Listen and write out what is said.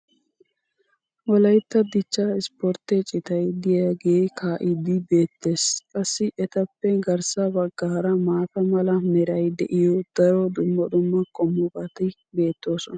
wolaytta dichchaa ispportte citay diyaagee kaa'iidi beetees. qassi etappe garssa bagaara maata mala meray de'iyo daro dumma dumma qommobati beetoosona.